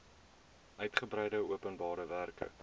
uitgebreide openbare werke